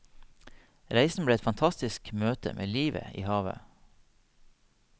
Reisen ble et fantasisk møte med livet i havet.